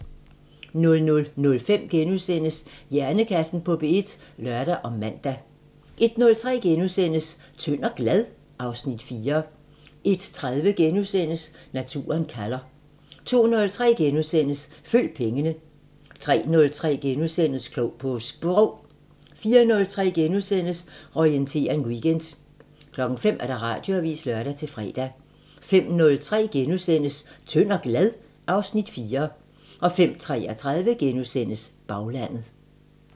00:05: Hjernekassen på P1 *(lør og man) 01:03: Tynd og glad? (Afs. 4)* 01:30: Naturen kalder * 02:03: Følg pengene * 03:03: Klog på Sprog * 04:03: Orientering Weekend * 05:00: Radioavisen (lør-fre) 05:03: Tynd og glad? (Afs. 4)* 05:33: Baglandet *